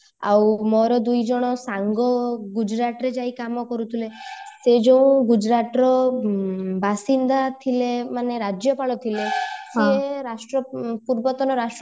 ଆଉ ମୋର ଦୁଇ ଜଣ ସାଙ୍ଗ ଗୁଜୁରାଟ ରେ ଯାଇକି କାମ କରୁଥିଲେ ସେ ଯୋଉ ଗୁଜୁରାଟରେ ବାସିନ୍ଦା ଥିଲେ ମାନେ ରାଜ୍ୟପାଳ ଥିଲେ ସେ ପୂର୍ବତନ ରାଷ୍ଟ୍ରପତି ଙ୍କୁ